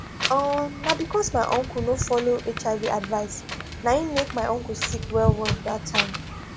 um na because my uncle no follow hiv advice na im make my uncle sick well well that time